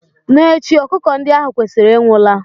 N'echi, ọkụkọ ndi ahu kwesịrị ịnwụ la